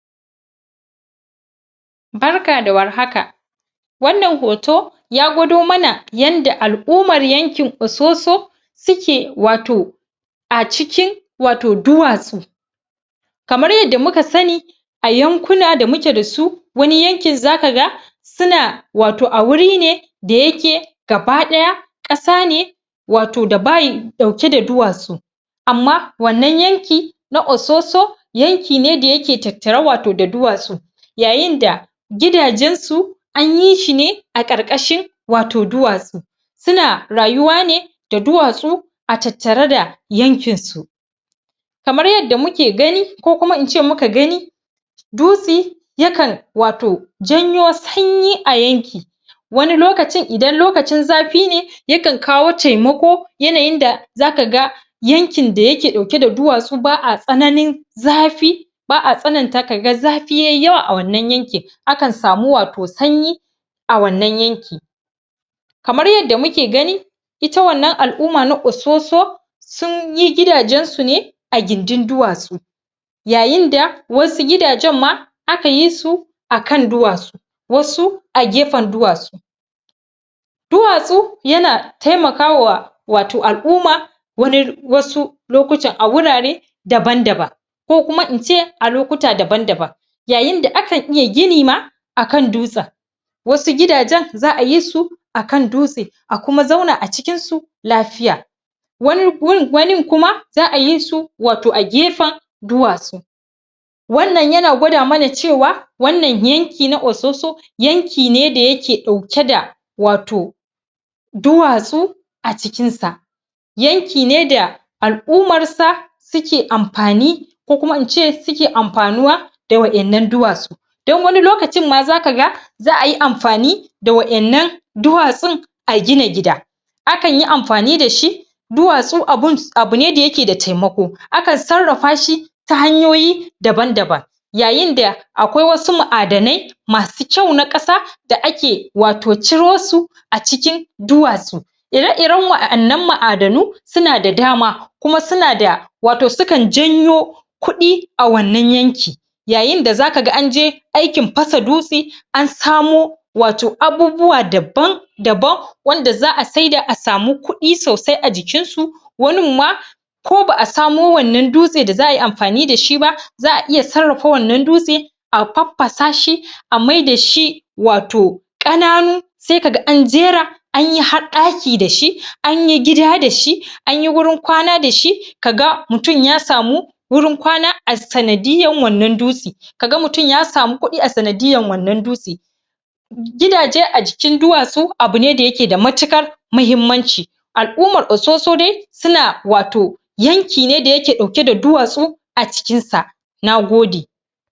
barka da war haka wannan hoto ya gwado mana yanda al'uman yankin ososo suke wato a cikin wato duwatsu kamar yadda muka sani a yankuna da muke dasu wani yankin zakaga una wato a wuri ne da yake gaba daya ƙasa ne wato da bayi dauke da duwatsu amma wannan yankin na ososo yanki da yake tattare wato da duwatsu yayin da gidajen su anyi shi ne a ƙaƙashin wato duwatsu suna rayuwa ne da duwatsu a tattare da yankin su kamar yadda muke gani ko kuma in ce muka gani dutse yakan wato janyo sanyi a yanki wani lokacin idan lokacin zafi ne yakan kawo taimako yanayin da zaka ga yankin da yake dauke da duwatsu ba a tsananin zafi ba'a tsananta kaga zafi yayi yawa a wannan yankin akan samu wato sanyi a wannan yanki kamar yadda muke gani ita wannan al'uma na ososo sunyi gidajen su ne a gindin duwatsu yayin da wasu gidajen ma aka yi su akan duwatsu wasu a gefen duwatsu duwatsu yana taimakawa wato al'uma wani wasu lokutan a wurare daban daban ko kuma in ce a lokuta daban daban yayin da akan iya gini ma akan dutsen wasu gidajen za'a yi su akan dutse a kuma zauna a cikin su lafiya wanin kuma za'a yi su wato a gefen duwatsu wannan yana gwada mana cewa wannan yanki na ososo yanki ne da yake dauke da wato duwatsu a cikin sa yanki ne da al'umar sa suke amfani ko kuma in ce suke amfanuwa da wa 'yan nan duwatsu dan wani lokacin ma zaka ga za'a yi amfani da wa 'yan nan duwatsun a gina gida akan yi amfani dashi duwatsu abu ne da yake da taimako akan sarrafa shi ta hanyoyi daban daban yayin da akwai wasu mu'adanai masu kyau na ƙasa da ake wato ciro su a cikin duwatsu ira iren wa 'yan nan ma'adanu suna da dama kuma suna da wato su kan janyo kudi a wannan yanki yayin da zaka ga an je aikin fasa dutse an samo wato abubuwa daban daban wanda za'a saida a samu kudi sosai a jikinsu wanin ma ko ba' a samo wannan dutse da za'a yi amfani dashi ba za'a iya sarrafa wannan dutsen a faffasa shi a mai dashi ato ƙananu sai kaga an jera anyi har daki dashi anyi gida dashi anyi gurin kwana dashi kaga mutum ya samu wurin kwana a sanadiyar wannan dutsen kaga mutum ya samu kudi a sanadiyar wannan dutsen gidaje a jikin duwatsu abu ne da yake da matiƙar mahimmanci al'umar ososo dai suna wato yanki ne da yake dauke da duwatsu a cikin sa na gode